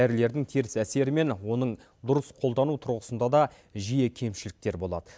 дәрілердің теріс әсері мен оның дұрыс қолдану тұрғысында да жиі кемшіліктер болады